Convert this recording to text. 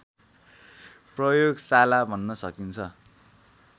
प्रयोगशाला भन्न सकिन्छ